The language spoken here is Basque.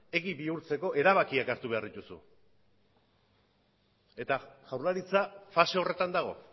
egi bihurtzeko erabakiak hartu behar dituzu eta jaurlaritza fase horretan dago